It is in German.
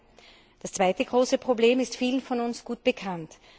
3. Das zweite große Problem ist vielen von uns gut bekannt.